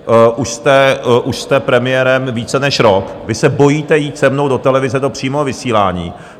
Už jste premiérem více než rok, vy se bojíte jít se mnou do televize do přímého vysílání.